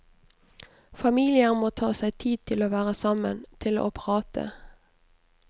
Familier må ta seg tid til å være sammen, til å prate.